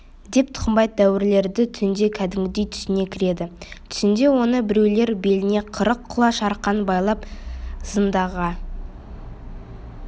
деп тұқымбай дәуірледі түнде кәдімгідей түсіне кіреді түсінде оны біреулер беліне қырық құлаш арқан байлап зынданға